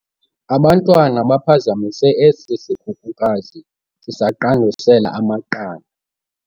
Abantwana baphazamise esi sikhukukazi sisaqandusela amaqanda.